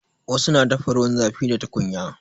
Wasu na dafa ruwan zafi da tukunya.